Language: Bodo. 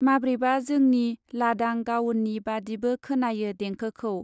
माब्रैबा जोंनि लादां गावननि बादिबो खोनायो देंखोखौ।